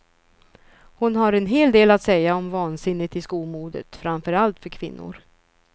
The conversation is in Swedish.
Hon har en hel del att säga om vansinnet i skomodet, framför allt för kvinnor.